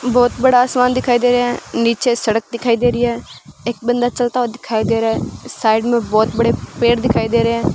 बहुत बड़ा आसमान दिखाई दे रहे हैं नीचे सड़क दिखाई दे रही है एक बंदा चलता हुआ दिखाई दे रहा है साइड में बहुत बड़े पेड़ दिखाई दे रहे हैं।